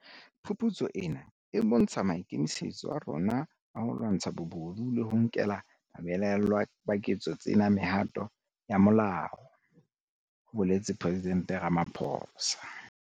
Phuputso ena e bontsha maikemisetso a rona a ho lwantsha bobodu le ho nkela babelaellwa ba ketso tsena mehato ya molao, ho boletse Presidente Ramaphosa.